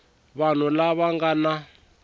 vanhu lava va nga na